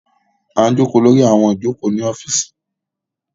A ń joko lori awọn ijoko ni ọfiisi